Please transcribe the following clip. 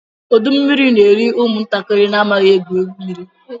Ọdọ mmiri n'eri ụmụ ntakịrị amaghị egwu mmiri.